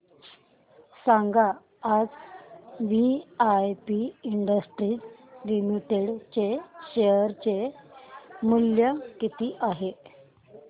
सांगा आज VIP industries limited चे शेअर चे मूल्य किती आहे